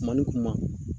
Kuma ni kuma